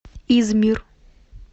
измир